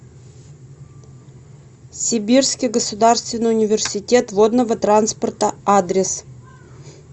сибирский государственный университет водного транспорта адрес